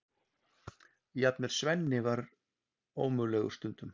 Jafnvel Svenni var ómögulegur stundum.